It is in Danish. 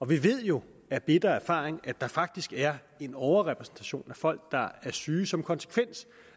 vi ved jo af bitter erfaring at der faktisk er en overrepræsentation af folk der er syge som konsekvens